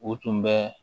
U tun bɛ